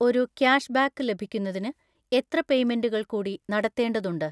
ഒരു ക്യാഷ്ബാക്ക് ലഭിക്കുന്നതിന് എത്ര പേയ്മെന്റുകൾ കൂടി നടത്തേണ്ടതുണ്ട്?